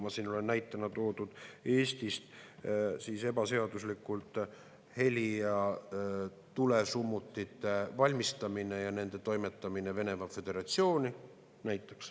Ma tõin siin näitena välja Eestis ebaseaduslikult heli‑ ja tulesummutite valmistamise ja nende toimetamise Venemaa Föderatsiooni.